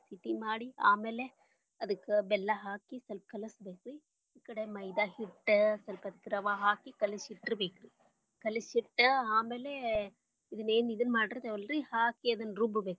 ಮಾಡಿ ಆಮ್ಯಾಲೆ ಅದಕ್ಕ ಬೆಲ್ಲಾ ಹಾಕಿ ಸ್ವಲ್ಪ ಕಲಸಬೇಕರಿ ಈ ಕಡೆ ಮೈದಾ ಹಿಟ್ಟ್ ಸ್ವಲ್ಪ ರವಾ ಹಾಕಿ ಕಲಸಿಟ್ಟರ ಬೇಕರೀ ಕಲಸಿಟ್ಟ್ ಆಮೇಲೆ ಇದನ್ನೆನ ಇದ ಮಾಡಿರ್ತೇವಲ್ಲರಿ ಹಾಕಿ ಅದನ್ನ ರುಬ್ಬ ಬೇಕ.